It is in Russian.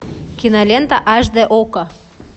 кинолента аш д окко